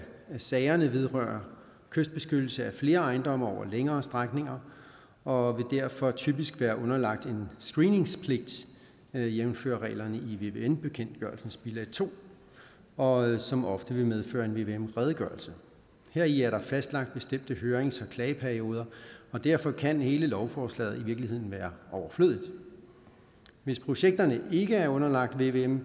sagerne vedrører kystbeskyttelse af flere ejendomme over længere strækninger og derfor typisk vil være underlagt en screeningspligt jævnfør reglerne i vvm bekendtgørelsens bilag to og som ofte vil medføre en vvm redegørelse heri er der fastlagt bestemte hørings og klageperioder og derfor kan hele lovforslaget i virkeligheden være overflødigt hvis projekterne ikke er underlagt vvm